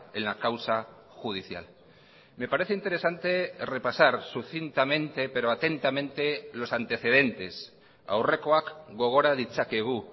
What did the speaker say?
en la causa judicial me parece interesante repasar sucintamente pero atentamente los antecedentes aurrekoak gogora ditzakegu